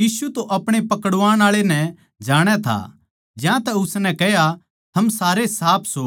यीशु तो अपणे पकड़वाण आळे नै जाणै था ज्यांतै उसनै कह्या थम सारे साफ सो